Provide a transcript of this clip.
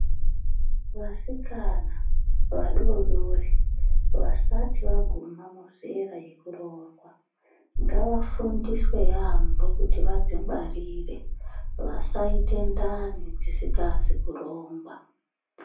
Vasikana vadodori vasati vaguma muzera yekuroorwa ngavafundiswe yambo kuti vadzingwarire kuti vasaite ndani dzisingazi kurongwa.